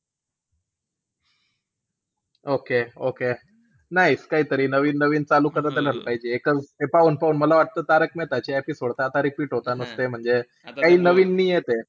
Okay-okay nice काहीतरी नवीन-नवीन चालू करत राहिला पाहिजे. ते पाहून-पाहून मला वाटतं तारक मेहता चे episode त आता repeat होता नुसते. म्हणजे काई नवीन नई येते.